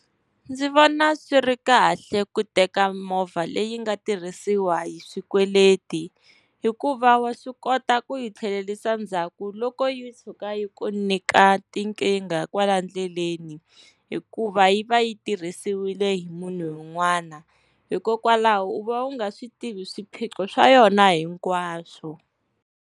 Ndzi vona swi ri kahle ku teka movha leyi nga tirhisiwa hi swikweleti, hikuva wa swi kota ku yi tlhelerisa ndzhaku loko yi tshuka yi ku nyika tinkingha kwala ndleleni, hikuva yi va yi tirhisiwile hi munhu un'wana, hikokwalaho u va u nga swi tivi swiphiqo swa yona hinkwaswo.